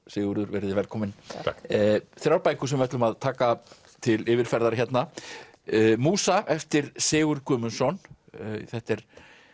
Sigurður verið þið velkomin takk þrjár bækur sem við ætlum að taka til yfirferðar hérna eftir Sigurð Guðmundsson þetta er